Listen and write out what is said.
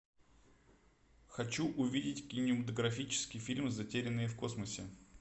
хочу увидеть кинематографический фильм затерянные в космосе